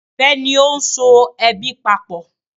Ìfẹ ni o so ẹbí papọ.